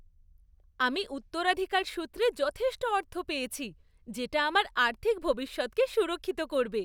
আমি উত্তরাধিকার সূত্রে যথেষ্ট অর্থ পেয়েছি যেটা আমার আর্থিক ভবিষ্যৎকে সুরক্ষিত করবে।